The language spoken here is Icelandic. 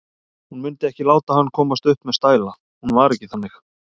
Hún mundi ekki láta hann komast upp með stæla, hún var ekki þannig.